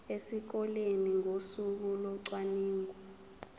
esikoleni ngosuku locwaningo